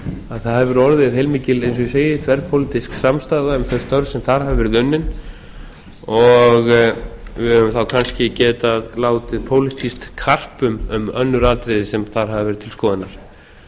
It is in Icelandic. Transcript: að það hefur orðið heilmikil eins og ég segi þverpólitísk samstaða um þau störf sem þar hafa verið unnin og við höfum þá kannski getað látið pólitískt karp um önnur atriði sem þar hafa verið til skoðunar